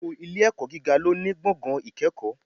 Gbogbo Ilé ẹ̀kọ́ gíga lóní gbọ̀ngàn ìkẹ́kọ̀ọ́